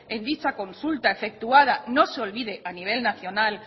en dicha consulta efectuada no se olvide a nivel nacional